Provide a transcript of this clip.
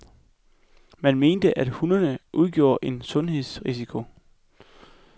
Man mente, at hundene udgjorde en sundhedsrisiko.